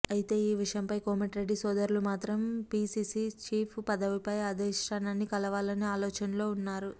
అయితే ఈ విషయమై కోమటిరెడ్డి సోదరులు మాత్రం పిసీసీ చీఫ్ పదవిపై అధిష్టానాన్ని కలవాలనే ఆలోచనలతో ఉన్నారు